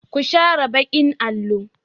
Ku share baƙin allo!